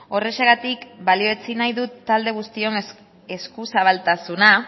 horrexegatik balioetsi nahi dut talde guztion eskuzabaltasuna